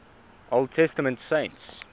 old testament saints